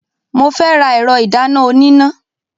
Mo fẹ́ ra ẹ̀rọ ìdáná oníná.